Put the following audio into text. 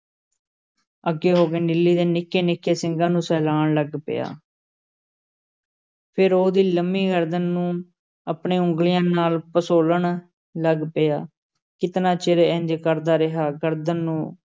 ਅੱਗੇ ਹੋ ਕੇ ਨੀਲੀ ਦੇ ਨਿੱਕੇ-ਨਿੱਕੇ ਸਿੰਗਾਂ ਨੂੰ ਸਹਿਲਾਣ ਲੱਗ ਪਿਆ ਫੇਰ ਉਹਦੀ ਲੰਮੀ ਗਰਦਨ ਨੂੰ ਆਪਣੇ ਉਂਗਲ਼ੀਆਂ ਨਾਲ਼ ਪਸੋਲਣ ਲੱਗ ਪਿਆ, ਕਿਤਨਾ ਚਿਰ ਇੰਞ ਕਰਦਾ ਰਿਹਾ, ਗਰਦਨ ਨੂੰ